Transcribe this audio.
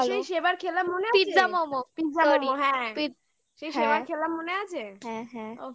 হ্যাঁ সেবারই খেলাম ভালোই মনে আছে pizza momos হ্যাঁ হ্যাঁ